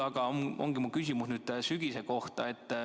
Aga mu küsimus on sügise kohta.